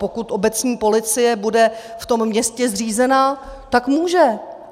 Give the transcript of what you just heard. Pokud obecní policie bude v tom městě zřízena, tak může.